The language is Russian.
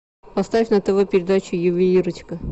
поставь на тв передачу ювелирочка